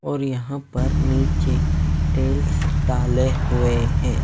और यहां पर नीचे टेल्स डाले हुए हैं।